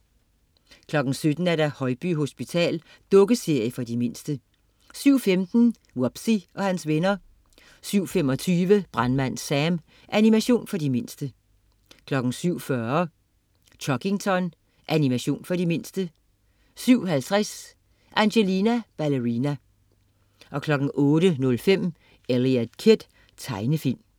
07.00 Højby hospital. Dukkeserie for de mindste 07.15 Wubbzy og hans venner 07.25 Brandmand Sam. Animation for de mindste 07.40 Chuggington. Animation for de mindste 07.50 Angelina Ballerina 08.05 Eliot Kid. Tegnefilm